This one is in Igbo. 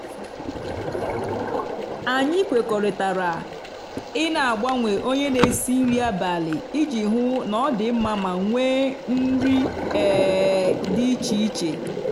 anyị kwekọrịtara i n'agbanwe onye n'esi nri abalị iji hụ na ọ dị mma ma nwee nri um dị iche iche